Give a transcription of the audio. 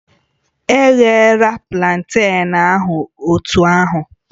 Eghela planten ahụ otú ahụ